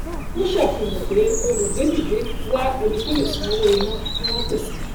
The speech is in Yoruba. ó ṣàfihàn pé olùgbédìde wá ẹni tó lè san owó iná tí wọn pèsè